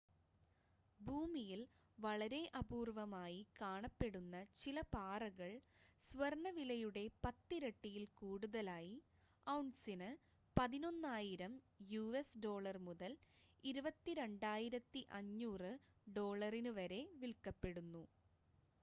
ഭൂമിയിൽ വളരെ അപൂർവ്വമായി കാണപ്പെടുന്ന ചില പാറകൾ സ്വർണ്ണ വിലയുടെ പത്തിരട്ടിയിൽ കൂടുതലായി ഔൺസിന് 11,000 യുഎസ് ഡോളർ മുതൽ 22,500 ഡോളറിന് വരെ വിൽക്കപ്പെടുന്നു